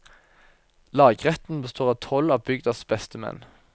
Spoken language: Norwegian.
Lagretten består av tolv av bygdas beste menn.